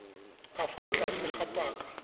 ka fa tlase ga paka